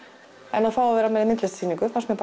en að fá að vera með í myndlistarsýningu fannst mér